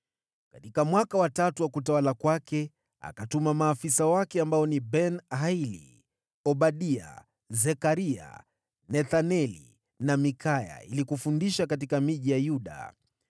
Katika mwaka wa tatu wa utawala wa akatuma maafisa wake ambao ni: Ben-Haili, Obadia, Zekaria, Nethaneli na Mikaya ili kufundisha katika miji ya Yuda.